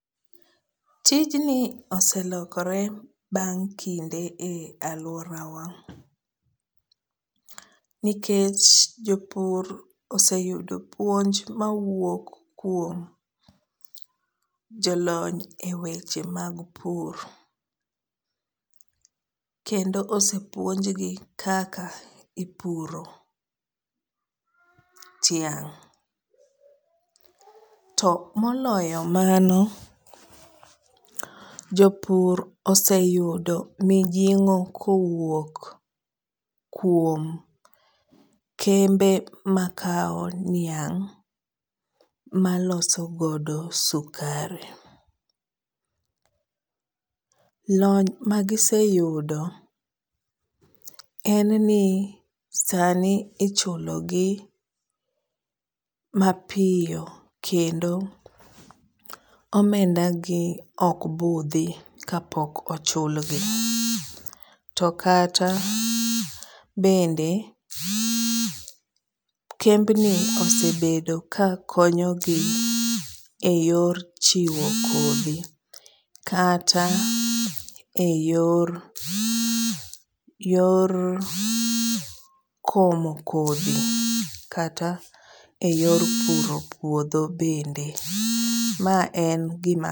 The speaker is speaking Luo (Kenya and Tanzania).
Tijni oselokore bang' kinde e aluorawa nikech jopur oseyudo puonj mawuok kuom jolony e weche mag pur kendo osepuonjgi kaka ipuro tiang'.To moloyo mano jopur oseyudo mijing'o kowuok kuom kembe makao niang' maloso godo sukari .Lony magiseyudo en ni sani ichulogi mapiyo kendo omendagi okbudhi kapok ochulgi. To kata bende kembni osebedo kakonyogi e yor chiwo kodhi kata e yor, yor komo kodhi kata e yor puro puodho bende. Ma en gima